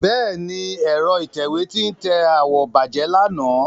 Bẹ́ẹ̀ni, ẹ̀rọ ìtẹ̀wé tí ń tẹ àwọ̀ bàjẹ́ lánàá.